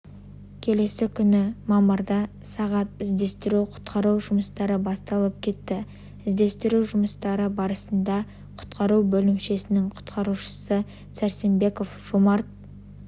келесі күні мамырда сағат іздестіру құтқару жұмыстары басталып кетті іздестіру жұмыстары барысында құтқару бөлімшесінің құтқарушысы сәрсенбеков жомарт